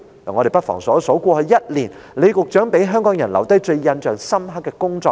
我們不妨細數過去1年李局長讓香港人印象最深刻的工作。